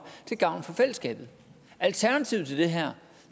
til gavn for fællesskabet alternativet til det her